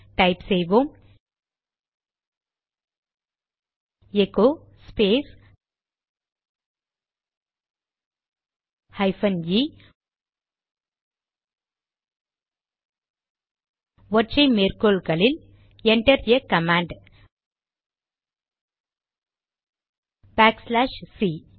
type செய்வோம் echo space hyphen e ஒற்றை மேற்கோளில் enter a command backslash C